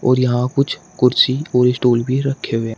और यहां कुछ कुर्सी और स्टूल भी रखे हुए --